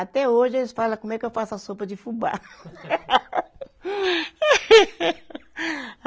Até hoje, eles fala como é que eu faço a sopa de fubá.